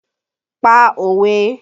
Pa òwe!